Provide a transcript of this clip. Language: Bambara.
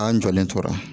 An jɔlen tora